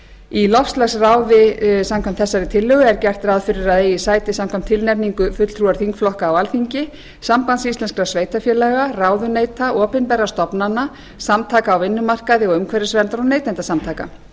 í loftslagsráði eigi sæti samkvæmt tilnefningu fulltrúar þingflokka á alþingi sambands íslenskra sveitarfélaga ráðuneyta opinberra stofnana samtaka á vinnumarkaði og umhverfisverndar og neytendasamtaka